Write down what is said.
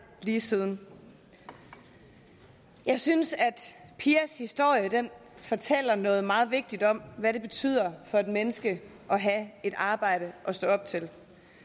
lige siden jeg synes at pias historie fortæller noget meget vigtigt om hvad det betyder for et menneske at have et arbejde at stå op til